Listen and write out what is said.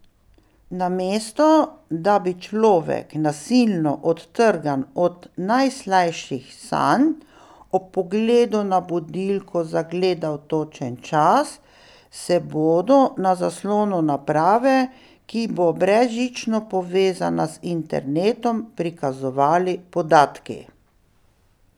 Namesto da bi človek, nasilno odtrgan od najslajših sanj, ob pogledu na budilko zagledal točen čas, se bodo na zaslonu naprave, ki bo brezžično povezana z internetom, prikazovali podatki.